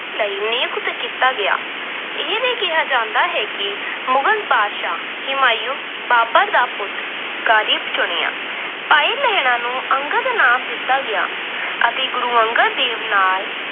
ਲਈ ਨਿਗਰਾਨੀ ਲਈ ਨਿਯੁਕਤ ਕੀਤਾ ਗਿਆ। ਇਹ ਵੀ ਕਿਹਾ ਜਾਂਦਾ ਹੈ ਕਿ ਮੋਹਨ ਬਾਦਸ਼ਾਹ ਹਿਮਾਯੂ, ਬਾਬਰ ਦਾ ਪੁੱਤਰ ਦਾ ਚੁਣਿਆ। ਭਾਈ ਲਹਿਣਾ ਨੂੰ ਅੰਗਦ ਨਾਮ ਦਿੱਤਾ ਗਿਆ ਅਤੇ ਗੁਰੂ ਅੰਗਦ ਦੇਵ ਨਾਮ